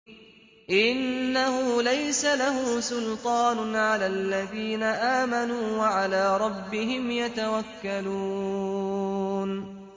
إِنَّهُ لَيْسَ لَهُ سُلْطَانٌ عَلَى الَّذِينَ آمَنُوا وَعَلَىٰ رَبِّهِمْ يَتَوَكَّلُونَ